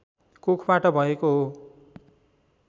कोखबाट भएको हो